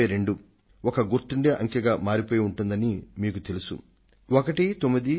1922 అనే సంఖ్యను గురించి మీరు ఇప్పటికే తెలుసుకొన్నారు